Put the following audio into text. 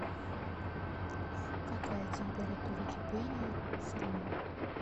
какая температура кипения у сурьма